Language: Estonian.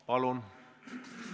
Palun!